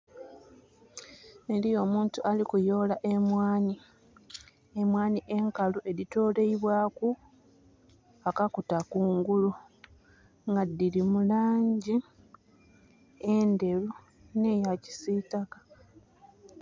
Eriyo omuntu ali kuyola emwani, emwani enkalu edhitolebwaku akakuta kungulu nga dhiri mu langi endheru ne ya kisitaka